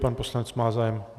Pan poslanec má zájem?